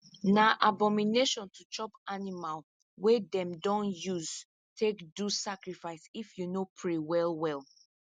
na abomination to chop animal wey them don use take do sacrifice if you no pray well well